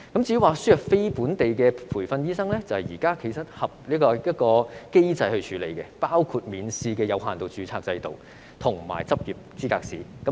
至於輸入非本地培訓的醫生，其實現在已有機制處理，包括免試的有限度註冊制度及執業資格試。